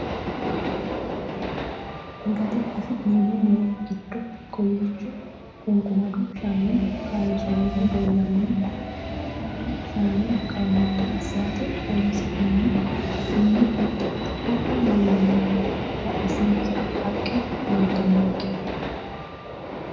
Gatte affinnemo murro giddo kowiicho quniqumaddu shaani kaayinisonihu leellanno konne shaana qaamatto asiratte horonisinnemo. alibbasinni huxxu leellanno badhesenni haqqe leelitanonnike.